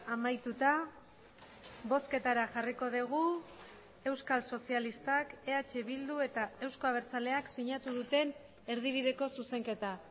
amaituta bozketara jarriko dugu euskal sozialistak eh bildu eta euzko abertzaleak sinatu duten erdibideko zuzenketa